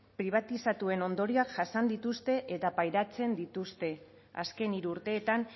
pribatizatuen ondorioak jasan dituzte eta pairatzen dituzte azken hiru urteetan